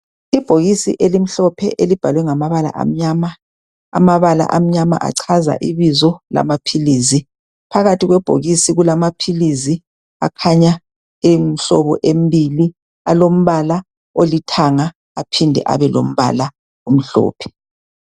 Ibhokisi elimhlophe elibhalwe ngamabala amnyama, amabala amnyama achaza ibizo lamaphilizi. Phakathi kwebhokisi kulamaphilizi akhanya eyimhlobo embili alombala olithanga aphinde abe lombala omhlophe.